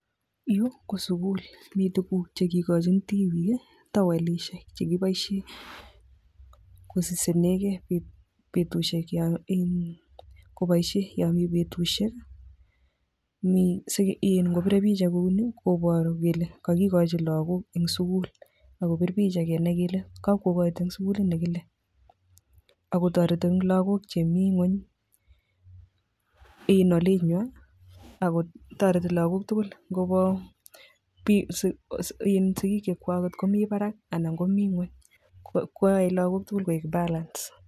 Yu ok sukul mii tuguuk chekikonchin tibiik, towelisiek chekiboishien kosisingek gee bik eng betusiek ab arawet, mii in asingobeere picha kouni koboru kele kokochin logbook eng skull. Kobir picha kenai kele kokoito eng sukulit nekile, akotoretii logook chemi gwony ako toreti logook tugul ngobo book sigiik chemi barak anan komi ngwony, koyoe logook tugul kokergeit